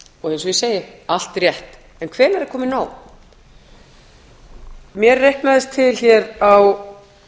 og eins og ég segi allt rétt en hvenær er komið nóg mér reiknaðist til hér á